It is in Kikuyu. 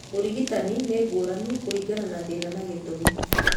Ũrigitani nĩ ngũrani kũringana na thĩna na gĩtũmi.